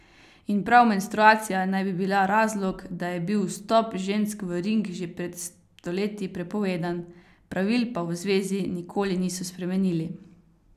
In prav menstruacija naj bi bila razlog, da je bil vstop žensk v ring že pred stoletji prepovedan, pravil pa v zvezi nikoli niso spremenili.